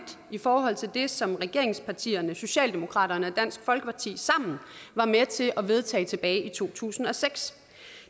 i forhold til det som regeringspartierne socialdemokratiet og dansk folkeparti sammen var med til at vedtage tilbage i to tusind og seks